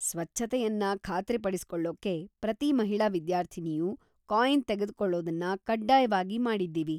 ಸ್ವಚ್ಛತೆಯನ್ನ ಖಾತ್ರಿ ಪಡಿಸಿಕೊಳ್ಳೊಕ್ಕೆ ,ಪ್ರತಿ ಮಹಿಳಾ ವಿದ್ಯಾರ್ಥಿನಿಯೂ ಕಾಯಿನ್‌ ತೆಗೆದ್ಕೊಳೊದನ್ನ ಕಡ್ಡಾಯವಾಗಿ ಮಾಡಿದೀವಿ.